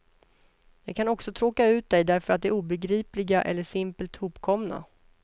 De kan också tråka ut dig därför att de är obegripliga eller simpelt hopkomna.